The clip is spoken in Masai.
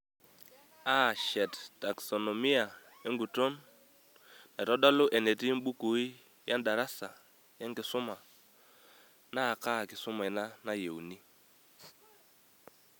Aashet taksonomia enguton naitodolu enetii mbukui yaa darasa, yaa kisuma , naakaa kisuma ina nayieuni.